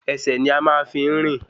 Ẹsẹ̀ ni a máa ń fi ń rìn